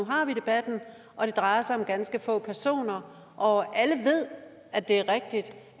nu har vi debatten og det drejer sig om ganske få personer og alle ved at det er rigtigt